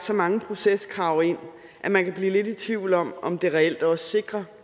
så mange proceskrav ind at man kan blive lidt i tvivl om om det reelt også sikrer